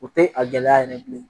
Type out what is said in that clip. O tɛ a gɛlɛya yɛrɛ bilen